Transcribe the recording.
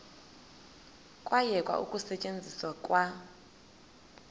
kwayekwa ukusetyenzwa kwa